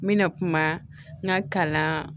N bɛna kuma n ka kalan